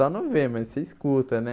Só não vê, mas você escuta, né?